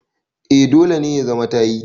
a dole ne ya za ta yi